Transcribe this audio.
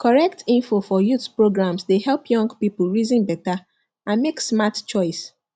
correct info for youth programs dey help young people reason better and make smart choice